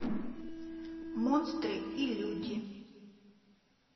монстры и люди